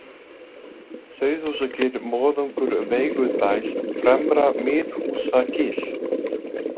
Sauðhúsagil, Moðungur, Veigudæl, Fremra-Miðhúsagil